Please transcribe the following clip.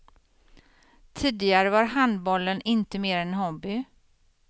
Tidigare var handbollen inte mer än en hobby.